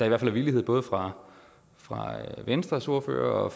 er en villighed både fra fra venstres ordfører og